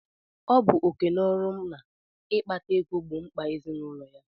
Ọ bụ oké na ọrụ nna ịkpata ego gbọọ mkpà ezinaụlọ ya.